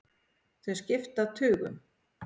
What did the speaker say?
Þau skipta tugum.